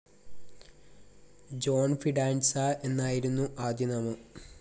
John Fidanza എന്നായിരുന്നു ആദ്യനാമം.